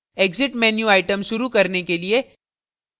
exit menu item शुरू करने के लिए